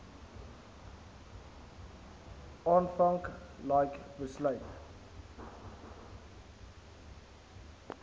aanvank like besluit